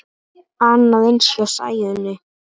Annað eins hjá Sæunni.